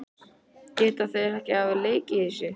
Geta þeir ekki hafa lekið þessu?